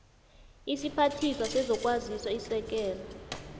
isiphathiswa sezokwazisa isekela